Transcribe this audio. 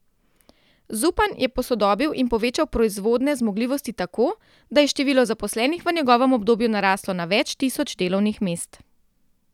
Zupan je posodobil in povečal proizvodne zmogljivosti tako, da je število zaposlenih v njegovem obdobju naraslo na več tisoč delovnih mest.